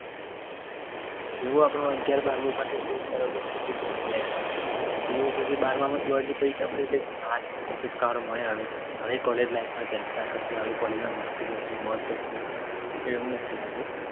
જેવું આપણું અગિયાર બારમુ પતે તેવું તરત જ College life આવે જેવો પછી board ની પરીક્ષા પાટે પછી હાયસ છુટકારો મળી આવે હવે College life માં જલશા કરશું હવે કોલેજ માં મસ્તી કરશું મોજ કરશું તેવું નથી હોયુ